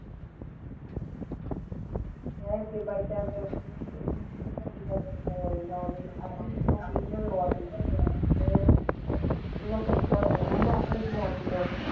ਹੋਰ ਉਹ ਕਿੱਦਾਂ ਮੰਮੀ ਨੂੰ?